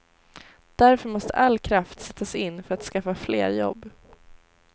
Därför måste all kraft sättas in för att skapa fler jobb.